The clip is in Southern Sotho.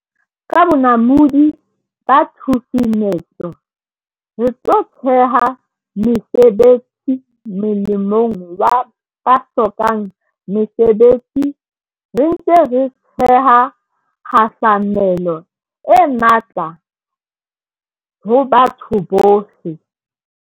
Ka bonamodi ba tshusumetso, re tlo theha mesebetsi molemong wa ba hlokang mesebetsi, re ntse re theha kgahlamelo e matla ho batho bohle.